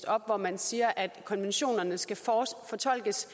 op hvor man siger at konventionerne skal fortolkes